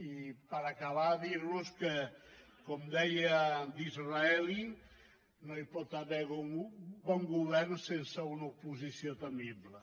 i per acabar dir los que com deia disraeli no hi pot haver bon govern sense una oposició temible